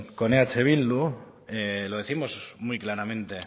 con eh bildu lo décimos muy claramente